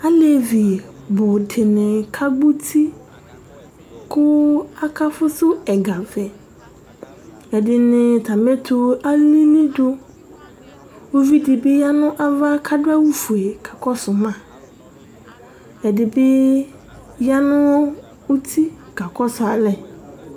Alevi nʋ dìní kagbɔ ʋti akafʋsu kʋ egavɛ Ɛdiní atami ɛtu alìlí du Ʋvidí ya nʋ ava kʋ adu awu fʋe kakɔsu ma Ɛdí bi ya nʋ ʋti kakɔsu alɛ